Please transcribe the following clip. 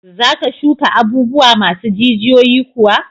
Za ka shuka abubuwa masu jijiyoyi kuwa?